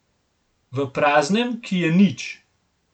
V praznem, ki je nič.